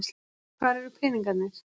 Hvar eru peningarnir?